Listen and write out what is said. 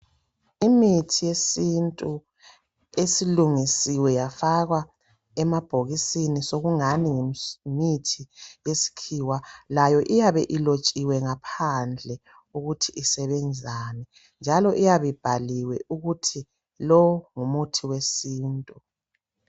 Imithi yesintu esilungisiwe yafakwa emabhokisini sokungan ngumuthi we sikhiwa iyabe ilotshiwe ukuthi isebenzani njalo, iyabe ibhaliwe ukuthi ngumuthi wesintu.